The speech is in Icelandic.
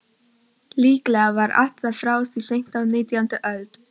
Líklega var það frá því seint á nítjándu öld.